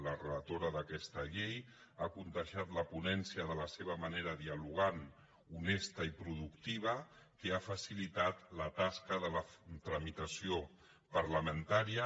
la relatora d’aquesta llei ha contagiat la ponència de la seva manera dialogant honesta i productiva que ha facilitat la tasca de la tramitació parlamentària